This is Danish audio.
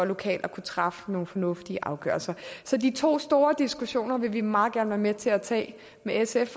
lokalt at kunne træffe nogle fornuftige afgørelser så de to store diskussioner vil vi meget gerne være med til at tage med sf